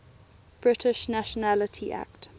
british nationality act